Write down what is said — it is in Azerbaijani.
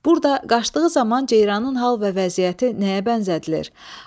Burda qaçdığı zaman ceyranın hal və vəziyyəti nəyə bənzədilir?